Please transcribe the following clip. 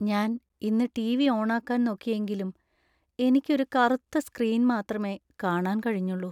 ഞാൻ ഇന്ന് ടി.വി. ഓണാക്കാൻ നോക്കിയെങ്കിലും എനിക്ക് ഒരു കറുത്ത സ്ക്രീൻ മാത്രമേ കാണാൻ കഴിഞ്ഞുള്ളൂ .